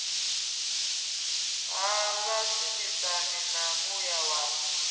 ha vhashumisani na muya wa